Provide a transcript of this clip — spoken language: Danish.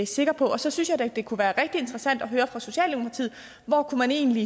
sikker på så synes jeg at det kunne være rigtig interessant at høre fra socialdemokratiet hvor man egentlig